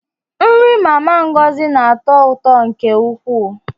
Nri Mama Ngozi na-atọ ụtọ nke ukwuu.